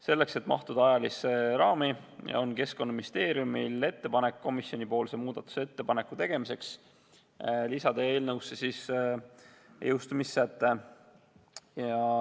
Selleks, et mahtuda ajalisse raami, on Keskkonnaministeeriumil ettepanek komisjonile muudatusettepaneku tegemiseks, et lisada eelnõusse jõustumissäte.